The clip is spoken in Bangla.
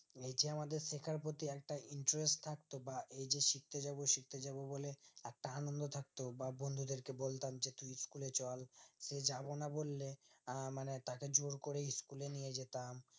এ এইযে আমাদের শেখার প্রতি একটা interest থাকতো বা এইযে শিখতেজাব শিখতেজাব বলে একটা আন্নন্দ থাকতো বা বন্ধদেরকে বলতাম যে তুই school এ চল যাবোনা বলে আহ মানে তাকে জোরকরে জোরকরে school এ নিয়ে যেতাম